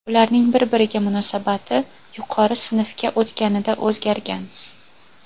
Ularning bir-biriga munosabati yuqori sinfga o‘tganida o‘zgargan.